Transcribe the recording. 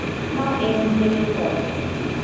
Ma en diere koth.